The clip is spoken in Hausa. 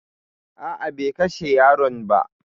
A'a be kashe yaron ba